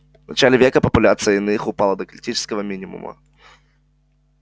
в начале века популяция иных упала до критического минимума